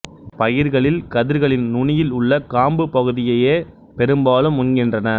பயிர்களில் கதிர்களின் நுனியில் உள்ள காம்புப் பகுதியையே பெரும்பாலும் உண்கின்றன